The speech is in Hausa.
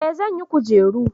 eh zan yi kujeru